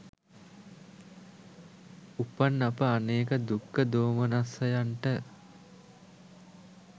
උපන් අප අනේක දුක්ඛ දෝමනස්සයන්ට